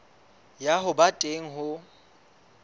ya ho ba teng ho